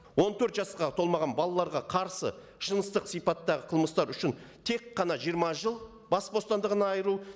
он төрт жасқа толмаған балаларға қарсы жыныстық сипаттағы қылмыстар үшін тек қана жиырма жыл бас бостандығынан айыру